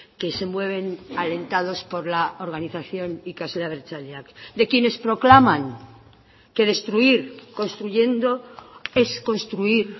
que se mueven alentados por la organización ikasle abertzaleak de quienes proclaman que destruir construyendo es construir